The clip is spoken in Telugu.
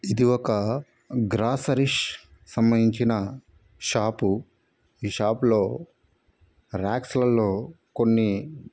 ఇది ఒక గ్రాసరిష్ సంబంధించిన షాపు ఈ షాప్ లో రాక్స్ ల లో కొన్ని--